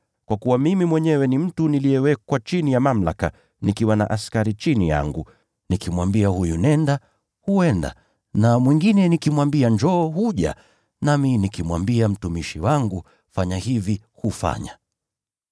Kwa kuwa mimi mwenyewe ni mtu niliyewekwa chini ya mamlaka, nikiwa na askari chini yangu. Nikimwambia huyu, ‘Nenda,’ yeye huenda; na mwingine nikimwambia, ‘Njoo,’ yeye huja. Nikimwambia mtumishi wangu, ‘Fanya hivi,’ yeye hufanya.”